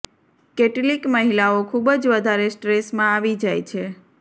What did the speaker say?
કેટલીક મહિલાઓ ખૂબ જ વધારે સ્ટ્રેસમાં આવી જાય છે